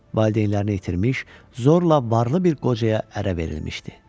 Valideynlərini itirmiş, zorla varlı bir qocaya ərə verilmişdi.